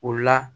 O la